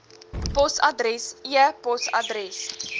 posadres e posadres